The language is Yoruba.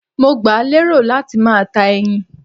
Mo gbà lérò láti máa ta ẹyin